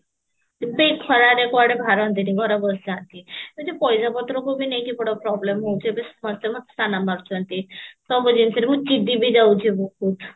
ବେ ଏଇ ଖରାରେ କୁଆଡେ ବାହାରନ୍ତିନି ଘର ବସିଯାଆନ୍ତି ଏଇ ଯଉ ପଇସା ପତ୍ରକୁ ବି ନେଇକି ବଡ problem ହଉଛି ଏବେ ସମସ୍ତେ ମୋତେ ତାନା ମାରୁଛନ୍ତି ସବୁଜିନିଷରେ ମୁଁ ଚିଡି ବି ଯାଉଛି ବହୁତ